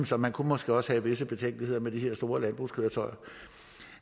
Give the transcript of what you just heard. så man kunne måske også have visse betænkeligheder med de her store landbrugskøretøjer